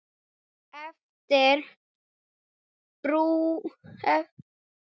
Eftir drjúga stund spurði Jón